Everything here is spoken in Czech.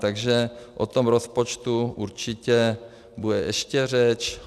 Takže o tom rozpočtu určitě bude ještě řeč.